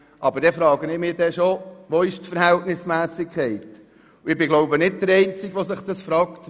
Aber dann frage ich mich, wo die Verhältnismässigkeit bleibt, und ich bin wohl nicht der einzige, der sich das fragt.